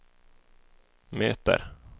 möter